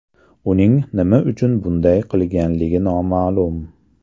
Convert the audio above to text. Uning nima uchun bunday qilganligi noma’lum.